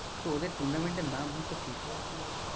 তো ওদের tournament এর নাম হয়তো FIFA